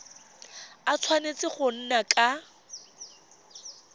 a tshwanetse go nna ka